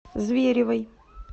зверевой